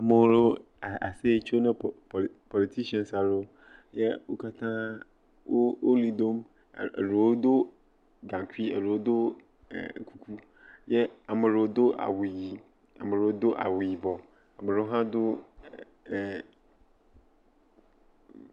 Ame aɖe le aseye tsom. Politians a a a aɖewo. Ye wò katã woli dom. Eɖewo do gankui. Eɖewo do eeee. E e ame aɖe do awu ɣi. Ame aɖewo do awu yibɔ. Ame aɖewo hã do e ......